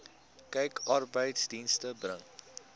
kyk arbeidsdienste bring